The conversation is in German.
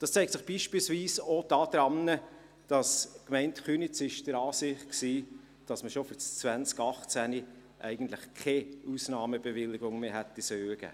Das zeigt sich beispielsweise auch daran, dass die Gemeinde Köniz der Ansicht war, dass man schon für 2018 keine Ausnahmebewilligung mehr hätte geben sollen.